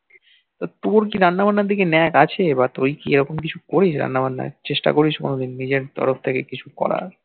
তোর কি রান্না বান্না এর দিকে ন্যাক আছে বা তুই কি এইরকম কিছু করিস রান্না বান্নার চেষ্টা করিস কোনদিন নিজের তরফ থেকে কিছু করার